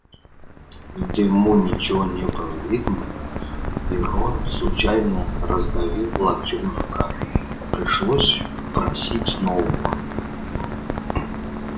в дыму ничего не было видно и рон случайно раздавил локтм жука пришлось просить нового